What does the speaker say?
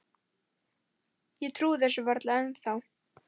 Ég trúi þessu varla ennþá.